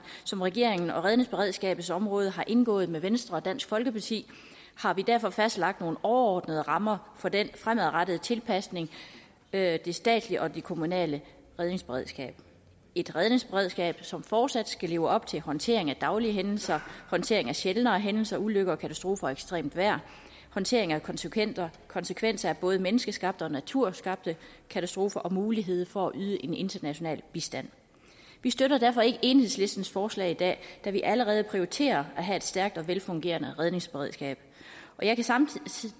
som regeringen og redningsberedskabets område har indgået med venstre og dansk folkeparti har vi derfor fastlagt nogle overordnede rammer for den fremadrettede tilpasning af det statslige og det kommunale redningsberedskab et redningsberedskab som fortsat skal leve op til håndtering af daglige hændelser håndtering af sjældnere hændelser ulykker katastrofer og ekstremt vejr og håndtering af konsekvenser konsekvenser af både menneskeskabte og naturskabte katastrofer samt mulighed for at yde en international bistand vi støtter derfor ikke enhedslistens forslag i dag da vi allerede prioriterer at have et stærkt og velfungerende redningsberedskab jeg vil samtidig